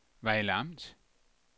Vejle Amt